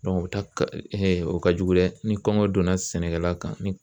o ta ka o ka jugu dɛ ni kɔngɔ donna sɛnɛkɛla kan